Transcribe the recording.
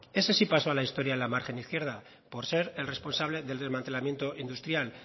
ese sí pasó a la historia en la margen izquierda por ser el responsable del desmantelamiento industrial